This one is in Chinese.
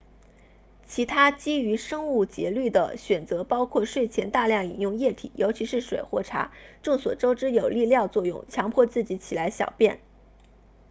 其他基于生物节律的选择包括睡前大量饮用液体尤其是水或茶众所周知有利尿作用强迫自己起来小便